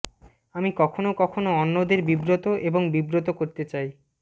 আমি কখনও কখনও অন্যদের বিব্রত এবং বিব্রত করতে চাই